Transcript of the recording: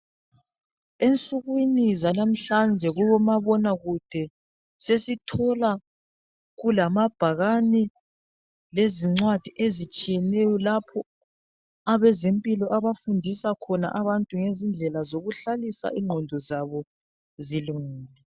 Ensukwini zanamhlanje, kubomabonakude sesithola kulamabhakani. Lezincwadi ezitshiyeneyo lapho abezempilo abafundisa khona abantu ngezindlela zokuhlalisa ingqondo zabo zilungile.